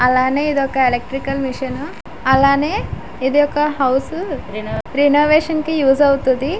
అలానే ఇదొక electrical machine . అలానే ఇదొక హౌస్ రినవేషన్ కి యూస్ అవుతది.